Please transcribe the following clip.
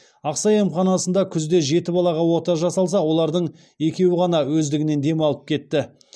ақсай емханасында күзде жеті балаға ота жасалса олардың екеуі ғана өздігінен демалып кетті